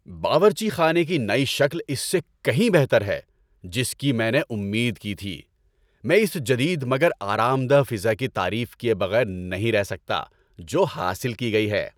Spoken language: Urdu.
باورچی خانے کی نئی شکل اس سے کہیں بہتر ہے جس کی میں نے امید کی تھی۔ میں اس جدید مگر آرام دہ فضا کی تعریف کیے بغیر نہیں رہ سکتا جو حاصل کی گئی ہے۔